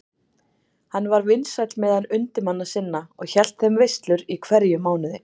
Hann var vinsæll meðal undirmanna sinna og hélt þeim veislur í hverjum mánuði.